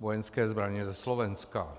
vojenské zbraně ze Slovenska.